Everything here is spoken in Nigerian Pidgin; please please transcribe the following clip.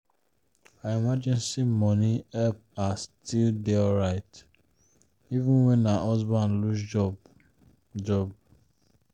her emergency money help her still dey alright even when her husband lose job. job.